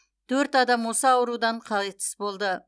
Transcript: төрт адам осы аурудан қайтыс болды